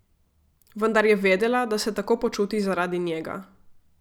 Vendar je vedela, da se tako počuti zaradi njega.